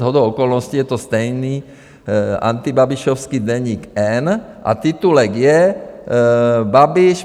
Shodou okolností je to stejný antibabišovský Deník N a titulek je: Babiš.